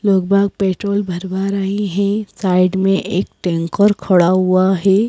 लोग बा पेट्रोल भरवा रहे हैं साइड में एक टैंकर खड़ा हुआ है।